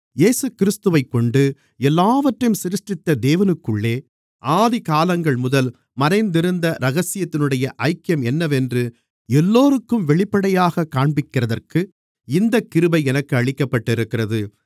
இயேசுகிறிஸ்துவைக்கொண்டு எல்லாவற்றையும் சிருஷ்டித்த தேவனுக்குள்ளே ஆதிகாலங்கள்முதல் மறைந்திருந்த இரகசியத்தினுடைய ஐக்கியம் என்னவென்று எல்லோருக்கும் வெளிப்படையாகக் காண்பிக்கிறதற்கு இந்தக் கிருபை எனக்கு அளிக்கப்பட்டிருக்கிறது